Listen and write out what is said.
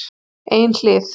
Ein hlið